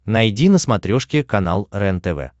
найди на смотрешке канал рентв